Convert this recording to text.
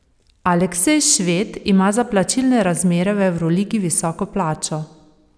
Aleksej Šved ima za plačilne razmere v evroligi visoko plačo.